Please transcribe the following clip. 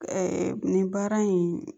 nin baara in